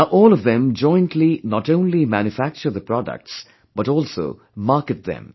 Now all of them jointly not only manufacture the products, but also market them